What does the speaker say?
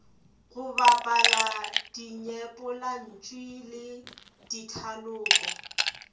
go bapala dinyepollantšu le dithaloko